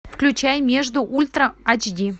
включай между ультра эйч ди